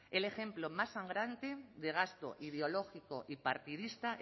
el ejemplo más sangrante de gasto ideológico y partidista